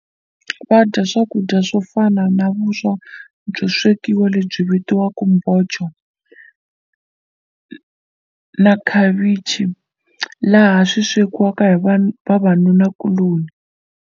Va dya swakudya swo fana na vuswa byo swekiwa lebyi vitiwaka na khavichi laha swi swekiwaka hi va vavanunakuloni.